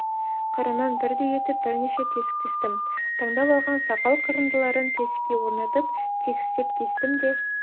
қырынан бірдей етіп бірнеше тесік тестім таңдап алған сақал қырындыларын тесікке орнатып тегістеп кестім де